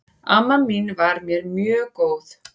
Amma mín var mér mjög góð.